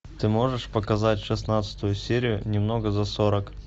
ты можешь показать шестнадцатую серию немного за сорок